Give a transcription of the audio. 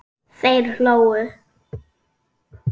Þeir hlógu.